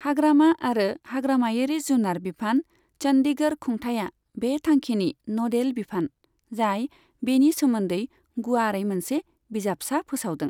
हाग्रामा आरो हाग्रामायारि जुनार बिफान, चंडीगढ़ खुंथाइया बे थांखिनि न'डेल बिफान, जाय बेनि सोमोन्दै गुवारै मोनसे बिजाबसा फोसावदों।